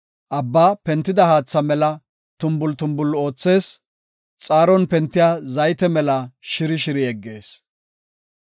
Abbaa pentida haatha mela tumbul tumbul oothees; xaaron pentiya zayte mela shiri shiri yeggees.